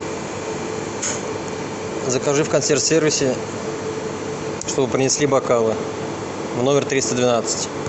закажи в консьерж сервисе чтобы принесли бокалы в номер триста двенадцать